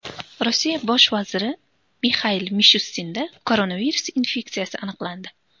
Rossiya bosh vaziri Mixail Mishustinda koronavirus infeksiyasi aniqlandi.